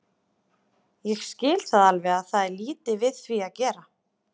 Ég skil það alveg og það er lítið við því að gera.